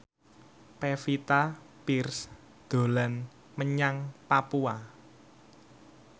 Pevita Pearce dolan menyang Papua